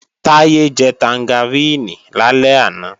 Táyé jẹ tangaríìnì lálẹ́ àná